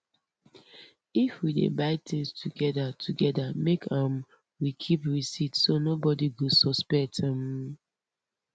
if we dey buy things together together make um we keep receipt so nobody go suspect um